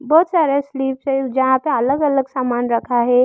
बहुत सारे स्लिप है जहां पे अलग अलग सामान रखा है।